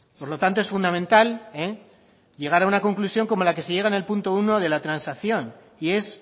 por lo tanto es fundamental llegar a una conclusión como la que se llega en el punto uno de la transacción y es